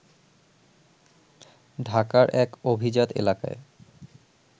ঢাকার এক অভিজাত এলাকায়